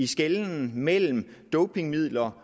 skelne mellem dopingmidler